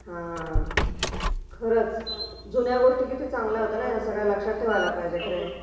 हो खरचं...जुन्या गोष्टी किती चांगल्या होत्या ना लक्षात ठेवायला पाहिजेत..